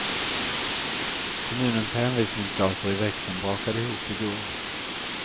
Kommunens hänvisningsdator i växeln brakade ihop i går.